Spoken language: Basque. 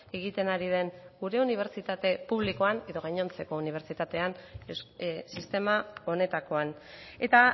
egiten ari den gure unibertsitate publikoan edo gainontzeko unibertsitatean sistema honetakoan eta